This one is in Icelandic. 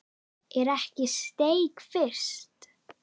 Er ekki steik fyrst?